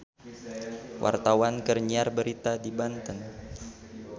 Wartawan keur nyiar berita di Banten